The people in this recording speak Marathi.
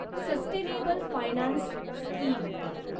sustainable finance scheme